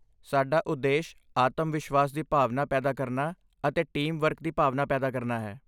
ਸਾਡਾ ਉਦੇਸ਼ ਆਤਮਵਿਸ਼ਵਾਸ ਦੀ ਭਾਵਨਾ ਪੈਦਾ ਕਰਨਾ ਅਤੇ ਟੀਮ ਵਰਕ ਦੀ ਭਾਵਨਾ ਪੈਦਾ ਕਰਨਾ ਹੈ।